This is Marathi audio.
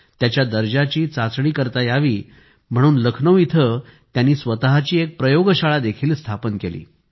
त्याच्या दर्जाची चाचणी करता यावी म्हणून लखनौ येथे स्वतःची एक प्रयोगशाळा देखील स्थापन केली